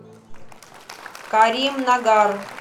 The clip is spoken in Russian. каримнагар